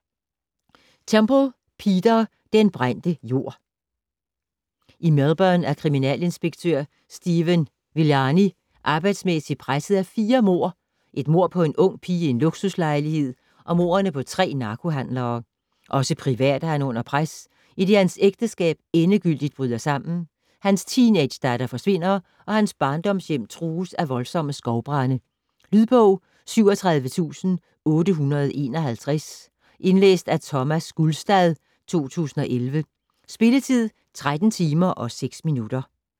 Temple, Peter: Den brændte jord I Melbourne er kriminalinspektør Stephen Villani arbejdsmæssigt presset af fire mord, et mord på en ung pige i en luksuslejlighed og mordene på tre narkohandlere. Også privat er han under pres, idet hans ægteskab endegyldigt bryder sammen, hans teenagedatter forsvinder, og hans barndomshjem trues af voldsomme skovbrande. Lydbog 37851 Indlæst af Thomas Gulstad, 2011. Spilletid: 13 timer, 6 minutter.